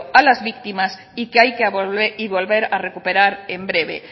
a las víctimas y que hay que volver a recuperar en breve